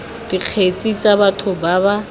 dikgetse tsa batho ba ba